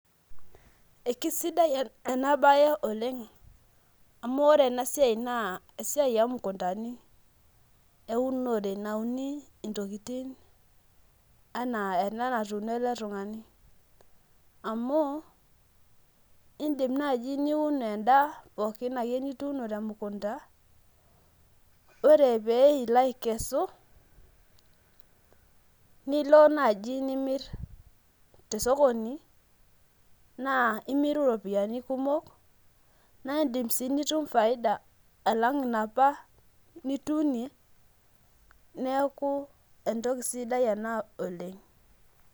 Ekesidai enabe oleng amu ore enasia na esiai omukundani eunore nauni ntokitin anaa ena natuuno elekutungani amu indim ani niun endaa pookin anaa tenamukunda ore pilo akesu nilo naji nimir tosokoni na imiru ropiyiani kumok na indim si nitum faida alang naapa nituunie neaku entoki sidai ena oleng